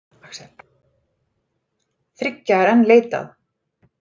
Þriggja er enn leitað.